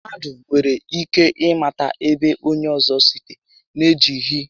Mmadụ nwere ike ị mata ébo onyé ọzọ site n'ejighi